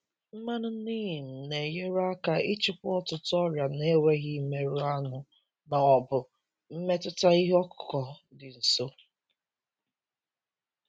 Mmanụ neem na-enyere aka ịchịkwa ọtụtụ ọrịa na-enweghị imerụ aṅụ ma ọ bụ mmetụta ihe ọkụkụ dị nso.